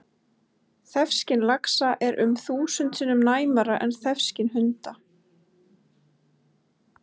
Þefskyn laxa er um þúsund sinnum næmara en þefskyn hunda!